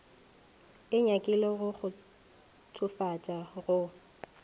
e nyakile go kgotsofatša go